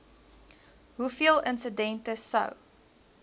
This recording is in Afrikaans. hoeveel insidente sou